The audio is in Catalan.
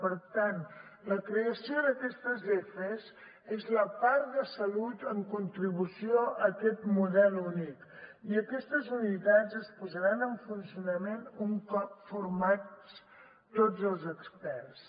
per tant la creació d’aquests efes és la part de salut en contribució a aquest model únic i aquestes unitats es posaran en funcionament un cop formats tots els experts